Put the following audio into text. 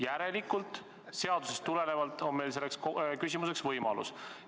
Järelikult on seadusest tulenevalt meil küsimiseks võimalus.